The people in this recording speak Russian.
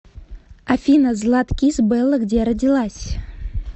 афина златкис белла где родилась